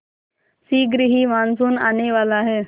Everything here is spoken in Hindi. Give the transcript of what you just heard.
शीघ्र ही मानसून आने वाला है